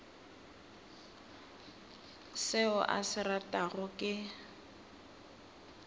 seo a se ratago ke